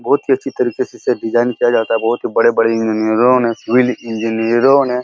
बोहोत ही अच्छी तरीके से इसे डिज़ाइन किया जाता है। बोहोत ही बड़े-बड़े इंजीनियरों ने सिविल इंजीनियरों ने --